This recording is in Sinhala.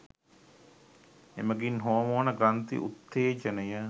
එමගින් හෝමෝන ග්‍රන්ථි උත්තේජනය